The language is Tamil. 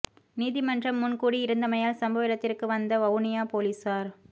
நீதிமன்றம் முன் கூடி இருந்தமையால் சம்பவ இடத்திற்கு வந்த வவுனியா பொலிசார்